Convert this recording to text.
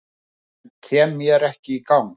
En kem mér ekki í gang